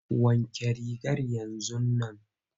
Wanke rigar yanzun nan!